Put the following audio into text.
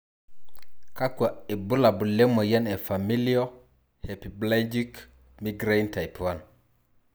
Kakwa ibulabul lemoyian e Familial hemiplegic migraine type 1?